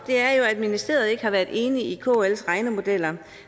det er at ministeriet ikke har været enige i kls regnemodeller